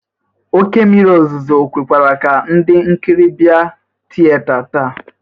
Oke mmịrị ozụzụ o kwekwara ka ndị nkịrị bịa tịyeta taa?